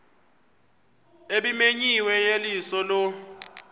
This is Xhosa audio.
ebimenyiwe yeyeliso lo